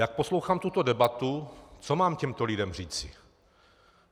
Jak poslouchám tuto debatu, co mám těmto lidem říci?